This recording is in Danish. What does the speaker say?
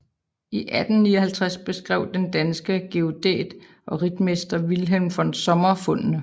I 1859 beskrev den danske geodæt og ritmester Wilhelm von Sommer fundene